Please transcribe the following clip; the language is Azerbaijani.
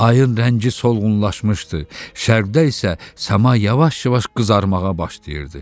Ayın rəngi solğunlaşmışdı, şərqdə isə səma yavaş-yavaş qızarmağa başlayırdı.